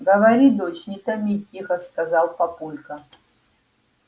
говори дочь не томи тихо сказал папулька